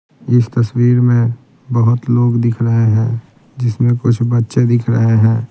इस तस्वीर में बहुत लोग दिख रहे हैं जिसमें कुछ बच्चे दिख रहे है।